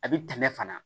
A bɛ tɛmɛ fana